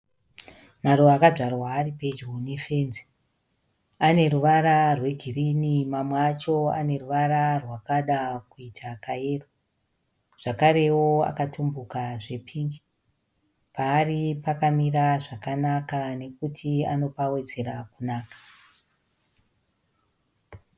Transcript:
Maruva akadzvarwa ari pedyo nefenzi. Aneruvara rwegirini mamwe acho aneruvara rwakada kuita kayero zvakarewo akatumbuka zvepingi. Paari pakamira zvakanaka nekuti anopawedzera kunaka.